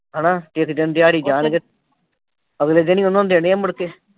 ਹਨਾ ਇੱਕ ਦਿਨ ਦਿਹਾੜੀ ਜਾਣਗੇ ਅਗਲੇ ਦਿਨ ਈ ਉਨ੍ਹਾਂ ਦੇਣੇ ਆ ਮੁੜ ਕੇ।